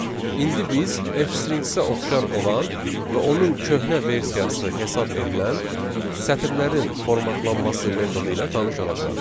İndi biz F-stringsə oxşar olan və onun köhnə versiyası hesab edilən sətirlərin formatlanması metodu ilə tanış olacağıq.